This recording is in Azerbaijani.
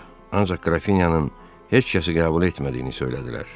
Ancaq Qrafinyanın heç kəsi qəbul etmədiyini söylədilər.